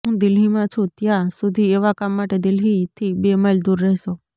હું દિલ્હીમાં છું ત્યાં સુધી એવા કામ માટે દિલ્હીથી બે માઈલ દૂર રહેશો